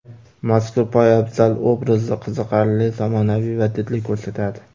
Mazkur poyabzal obrazni qiziqarli, zamonaviy va didli ko‘rsatadi.